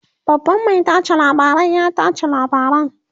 babban Mai tace labarai ya tace labaran